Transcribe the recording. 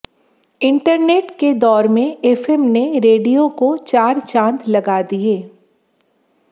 internet के दौर में एफएम ने रेडियो को चार चांद लगा दिये